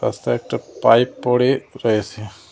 সাইডে একটা পাইপ পড়ে রয়েসে।